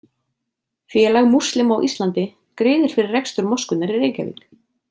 Félag múslima á Íslandi greiðir fyrir rekstur moskunnar í Reykjavík.